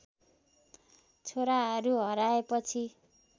छोराहरू हराए पछि